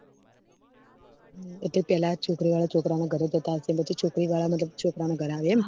એટલે પેહલા છોકરી વાળા છોકરા ના ઘર જતા હશે પછી છોકરી વાળા મતલબ છોકરા ના ઘર આવે એમ